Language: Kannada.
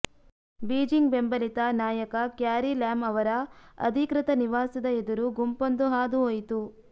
ಬೀಜಿಂಗ್ ಬೆಂಬಲಿತ ನಾಯಕ ಕ್ಯಾರಿ ಲ್ಯಾಮ್ ಅವರ ಅಧಿಕೃತ ನಿವಾಸದ ಎದುರು ಗುಂಪೊಂದು ಹಾದುಹೋಯಿತು